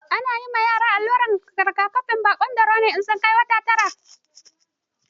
Ana yi ma yara allurar rigakafin baƙon dauro in sun kai wata tara.